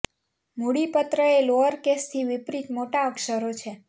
મૂડી પત્ર એ લોઅર કેસથી વિપરીત મોટા અક્ષરો છે